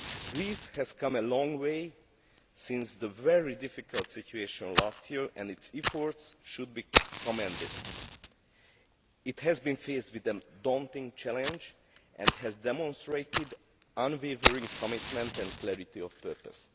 Greece has come a long way since the very difficult situation last year, and its efforts should be commended. It has been faced with a daunting challenge and has demonstrated unwavering commitment and clarity of purpose.